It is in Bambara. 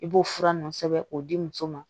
I b'o fura nunnu sɛbɛn k'o di muso ma